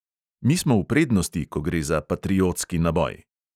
Mi smo v prednosti, ko gre za patriotski naboj.